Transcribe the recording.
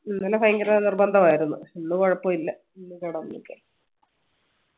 ഇന്നലെ ഭയങ്കര നിർബന്ധമായിരുന്ന് ഇന്ന് കൊഴപ്പില്ല ഇന്ന് കെടന്നു